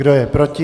Kdo je proti?